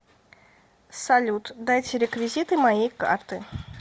салют дайте реквизиты моей карты